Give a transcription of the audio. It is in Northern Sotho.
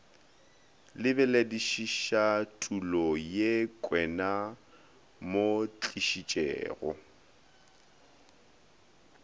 lebeledišišatulo ye kwenaa mo tlišitšego